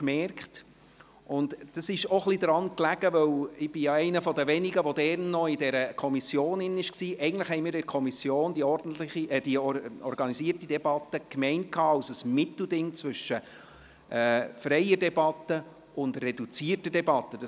Dies lag auch ein wenig daran, dass wir damals in der Kommission – ich bin ja einer der Wenigen hier, die dieser Kommission angehörten – die organisierte Debatte als ein Mittelding zwischen freier und reduzierter Debatte gemeint hatten.